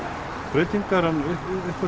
breytingar en einhvern